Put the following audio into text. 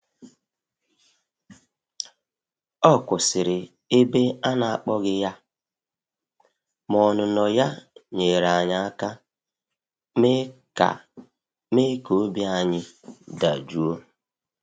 Ọ kwụsịrị ebe a na akpọghị ya, ma ọnụnọ ya nyeere anyị aka me ka me ka obi ayi dajụọ.